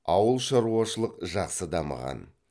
ауылшаруашылық жақсы дамыған